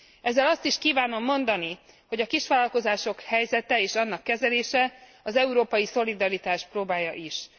Ezzel azt is kívánom mondani, hogy a kisvállalkozások helyzete és annak kezelése az európai szolidaritás próbálja is.